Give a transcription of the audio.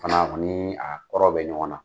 Fana o nii a kɔrɔ bɛ ɲɔgɔn na.